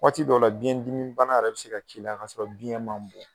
Waati dɔ la biyɛndimi bana yɛrɛ bɛ se ka k'i la k'a sɔrɔ biyɛn man bon.